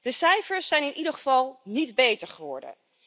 De cijfers zijn in ieder geval niet beter geworden.